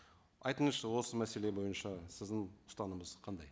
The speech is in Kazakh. айтыңызшы осы мәселе бойынша сіздің ұстанымыңыз қандай